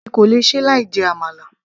èmi kò lè ṣe láì jẹ àmàlà